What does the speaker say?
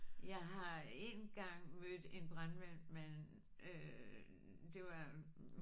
Jeg har en gang mødt en brandmand men øh det var